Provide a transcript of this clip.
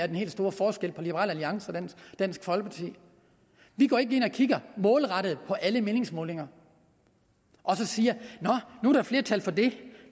den helt store forskel på liberal alliance og dansk folkeparti vi går ikke ind og kigger målrettet på alle meningsmålinger og siger nå nu er der flertal for det